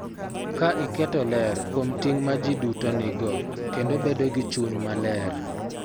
Ka iketo ler kuom ting� ma ji duto nigo kendo bedo gi chuny maler.